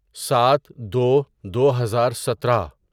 سات دو دوہزار سترہ